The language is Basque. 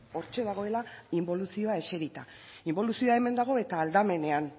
hortxe dagoela inboluzioa eserita inboluzioa hemen dago eta aldamenean